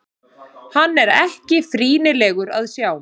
Hann er ekki frýnilegur að sjá.